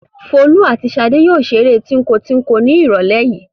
Folú àti Ṣadé yóò ṣeré tíńko-tíńko ní ìrọ́lẹ́ yìí.